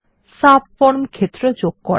subform ক্ষেত্র যোগ করা